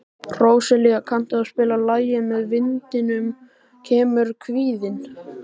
Róselía, kanntu að spila lagið „Með vindinum kemur kvíðinn“?